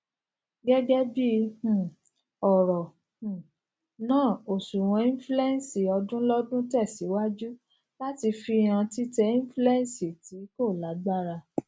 gẹgẹbi um ọrọ um naa oṣuwọninflẹṣọn ọdunlọdun tẹsiwaju lati fihan titẹ inflẹṣọn ti ko lagbara